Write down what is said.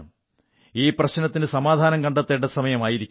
ഈ പ്രശ്നത്തിന് സമാധാനം കണ്ടെത്തേണ്ട സമയം ആയിരിക്കുന്നു